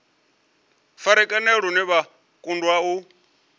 farakanea lune vha kundwa u